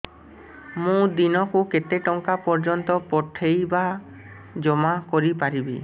ମୁ ଦିନକୁ କେତେ ଟଙ୍କା ପର୍ଯ୍ୟନ୍ତ ପଠେଇ ବା ଜମା କରି ପାରିବି